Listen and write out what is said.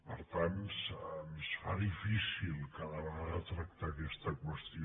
per tant se’ns fa difícil cada vegada tractar aquesta qüestió